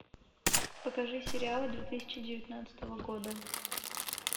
покажи сериалы две тысячи девятнадцатого года